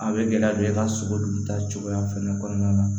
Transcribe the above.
A bɛ gɛlɛya don i ka sogo dun ta cogoya fɛnɛ kɔnɔna na